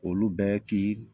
Olu bɛ ki